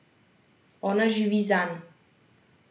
Ona živi zanj.